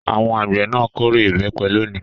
Àwọn àgbẹ̀ náà kórè ìbẹ́pẹ lónìí.